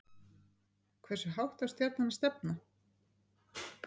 Hversu hátt á Stjarnan að stefna